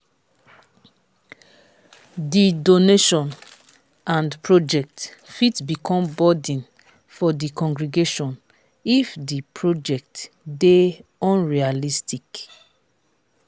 di donation and project fit become burden for di congregation if di project dey unrealistic